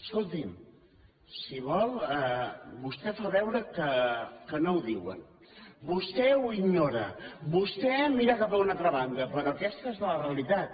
escoti’m si vol vostè fa veure que no ho diuen vostè ho ignora vostè mira cap a una altra banda però aquesta és la realitat